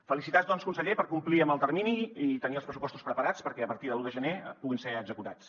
felicitats doncs conseller per complir amb el termini i tenir els pressupostos preparats perquè a partir de l’un de gener puguin ser executats